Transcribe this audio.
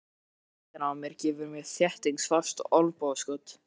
Túlkurinn við hliðina á mér gefur mér þéttingsfast olnbogaskot.